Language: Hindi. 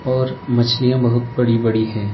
और मछलियां बहुत बड़ी-बड़ी हैं।